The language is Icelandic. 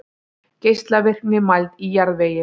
Geislavirkni mæld í jarðvegi.